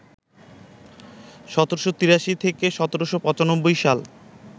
১৭৮৩ থেকে ১৭৯৫ সাল